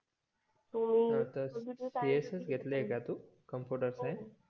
CS घेतलय का तू कॉम्पुटर सायन्स